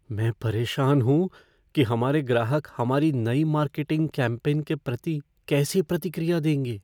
मैं परेशान हूँ कि हमारे ग्राहक हमारी नई मार्केटिंग कैम्पेन के प्रति कैसी प्रतिक्रिया देंगे।